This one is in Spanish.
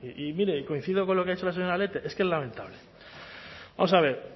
y mire coincido con lo que ha dicho la señora lete es que es lamentable vamos a ver